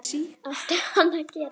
Átti hann að gera það??